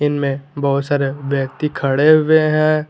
इनमे बहोत सारे व्यक्ति खड़े हुए हैं।